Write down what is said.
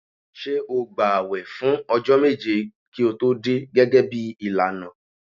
Ṣé o gbààwẹ̀ fún ọjọ́ méje kí o tó dé gẹ́gẹ́ bí ìlànà?